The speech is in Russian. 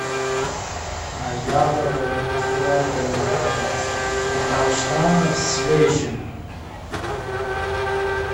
яблоки виноград должна в свежем